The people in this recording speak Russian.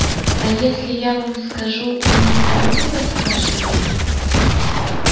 а если я вам скажу вы никому не расскажете